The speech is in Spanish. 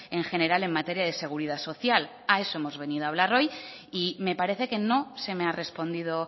en general en materia de seguridad social a eso hemos venido a hablar hoy y me parece que no se me ha respondido